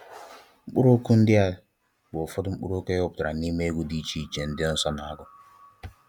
Mkpuru okwu ndi a bu ufodu mkpuru okwu eweputara n'ime egwu di iche iche ndi nso na agu